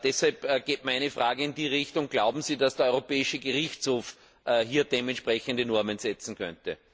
Deshalb geht meine Frage in die Richtung Glauben Sie, dass der Europäische Gerichtshof hier entsprechende Normen setzen könnte?